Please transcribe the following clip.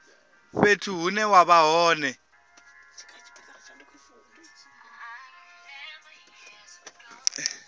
fhethu hune wa vha hone